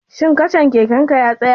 Shin kacan keken ka ya katse?